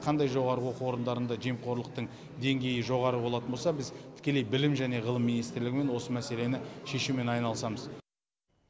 қандай жоғарғы оқу орындарында жемқорлықтың деңгейі жоғары болатын болса біз тікелей білім және ғылым министрлігімен осы мәселені шешумен айналысамыз